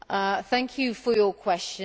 Thank you for your question.